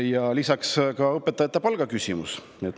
Ja lisaks on ka õpetajate palga küsimus.